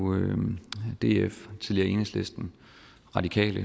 df tidligere enhedslisten radikale